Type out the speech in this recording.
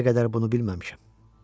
İndiyə qədər bunu bilməmişəm.